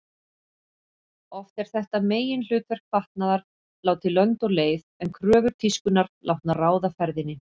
Oft er þetta meginhlutverk fatnaðar látið lönd og leið en kröfur tískunnar látnar ráða ferðinni.